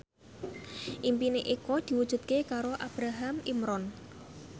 impine Eko diwujudke karo Ibrahim Imran